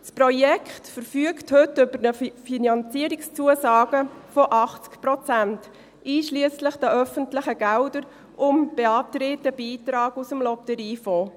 Das Projekt verfügt heute über Finanzierungszusagen von 80 Prozent, einschliesslich der öffentlichen Gelder, und beantragt einen Beitrag aus dem Lotteriefonds.